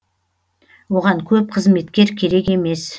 оған көп қызметкер керек емес